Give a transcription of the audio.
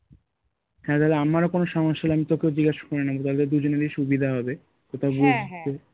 হ্যাঁ তাহলে আমারও কোনো সমস্যা হলে আমি তোকেও জিজ্ঞাসা করে নেবো তাহলে দুজনেরই সুবিধা হবে কোথাও